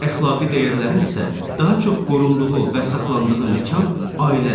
Əxlaqi dəyərlərin isə daha çox qorunduğu və saxlandığı məkan ailədir.